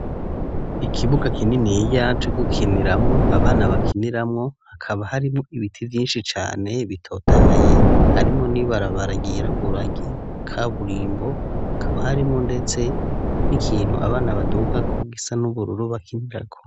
Ikibuga kininiya co gukiniramwo abana bakiniramwo, hakaba harimwo ibiti vyinshi cane bitotahaye harimwo n'ibarabara ryirabura ry'ikaburimbo hakaba harimwo ndetse n'ikintu abana badugako gisa n'ubururu bakinirako.